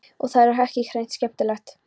Og það er hreint ekki skemmtilegt.